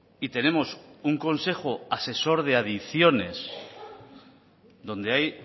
y tenemos un consejo asesor de adicciones donde hay